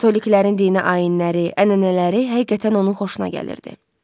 Katoliklərin dini ayinləri, ənənələri həqiqətən onun xoşuna gəlirdi.